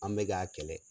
An bɛ k'a kɛlɛ